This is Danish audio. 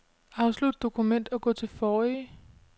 Afslut dokument og gå til forrige.